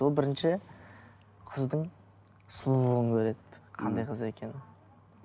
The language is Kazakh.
ол бірінші қыздың сұлулығын көреді қандай қыз екенін